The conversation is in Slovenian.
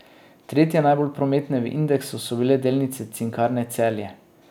Tretje najbolj prometne v indeksu so bile delnice Cinkarne Celje.